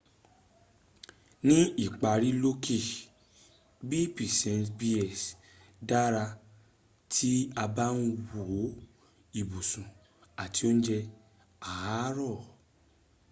ní ìparí lókè b%bs dára tí a bá ń wo ibùsùn àti óúnjẹ àárọ̀